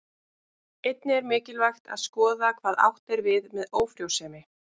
Einnig er mikilvægt að skoða hvað átt er við með ófrjósemi.